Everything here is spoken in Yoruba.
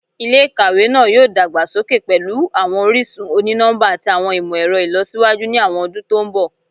Ilé-ìkàwé náà yóò dàgbà sókè pẹ̀lú àwọn orísun oni-nọmba àti àwọn ìmọ̀-ẹ̀rọ ìlọsíwájú ni àwọn ọdún to ń bọ̀